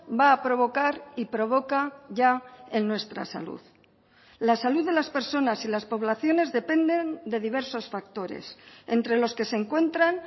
va a provocar y provoca ya en nuestra salud la salud de las personas y las poblaciones dependen de diversos factores entre los que se encuentran